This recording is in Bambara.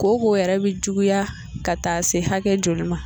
Kooko yɛrɛ bɛ juguya ka taa se hakɛ joli ma